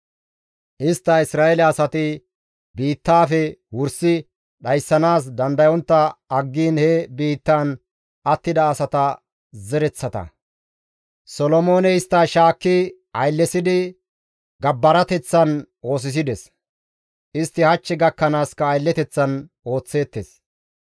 Istta Isra7eele asati biittaafe wursi dhayssanaas dandayontta aggiin he biittaan attida asata zereththata; Solomooney istta shaakki ayllesidi gabbarateththan oosisides; istti hach gakkanaaska aylleteththan ooththeettes.